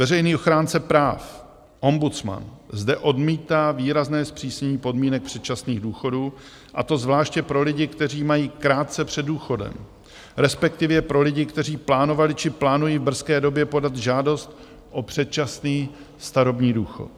Veřejný ochránce práv, ombudsman, zde odmítá výrazné zpřísnění podmínek předčasných důchodů, a to zvláště pro lidi, kteří mají krátce před důchodem, respektive pro lidi, kteří plánovali či plánují v brzké době podat žádost o předčasný starobní důchod.